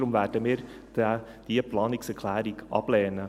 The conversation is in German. Deshalb werden wir diese Planungserklärung ablehnen.